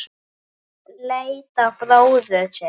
Hún leit á bróður sinn.